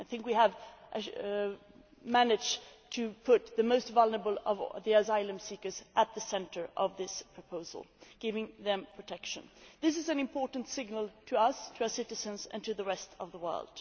I think that we have managed to put the most vulnerable asylum seekers at the centre of this proposal, giving them protection. This is an important signal to us, to our citizens and to the rest of the world.